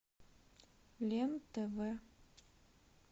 лен тв